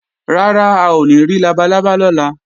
Rárá, a ò ní rí labalábá lọ́la